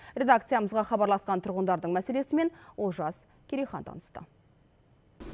редакциямызға хабарласқан тұрғындардың мәселесімен олжас керейхан танысты